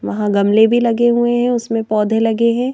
वहाँ गमले भी लगे हुए हैं उसमें पौधे लगे हैं।